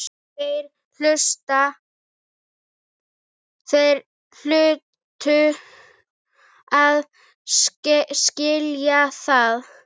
Þeir hlutu að skilja það.